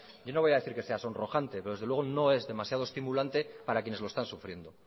yo no voy a decir que sea sonrojante pero desde luego no es demasiado estimulante para quienes lo están sufriendo